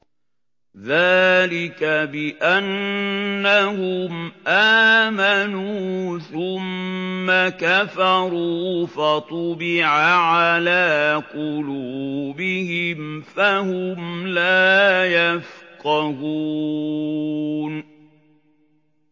ذَٰلِكَ بِأَنَّهُمْ آمَنُوا ثُمَّ كَفَرُوا فَطُبِعَ عَلَىٰ قُلُوبِهِمْ فَهُمْ لَا يَفْقَهُونَ